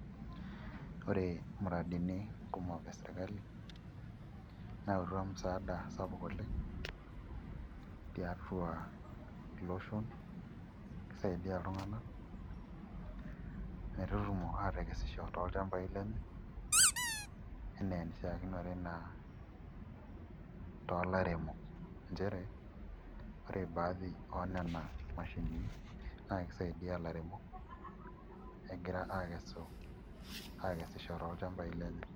Ore muradini kumok e sirkali neyautua msaada sapuk oleng' tiatua iloshon nisaidia iltung'anak metutumo aatekesisho tolchambai lenye enaa enishiakinore naa too lairemok, nchere ore baadhi oo nena mashinini naa kisaidia ilairemok egira aakesisho tolchambai lenye.